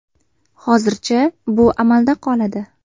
Hozircha bu amalda qoladi.